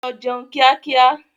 Lọ jẹun kíá kíá!